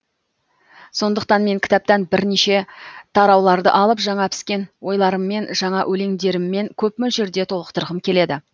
сондықтан мен кітаптан бірнеше тарауларды алып жаңа піскен ойларыммен жаңа өлеңдеріммен көп мөлшерде толықтырғым келеді